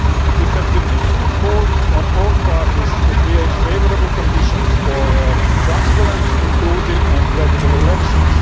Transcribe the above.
It has repeatedly called on all parties to create favourable conditions for transparent, inclusive and credible elections.